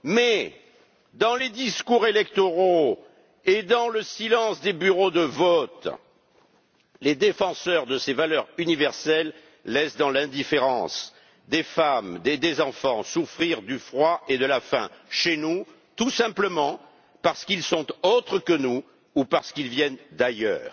Mais dans les discours électoraux et dans le silence des bureaux de vote, les défenseurs de ces valeurs universelles laissent, dans l'indifférence, des femmes et des enfants souffrir du froid et de la faim chez nous, tout simplement parce qu'ils sont autres que nous ou qu'ils viennent d'ailleurs.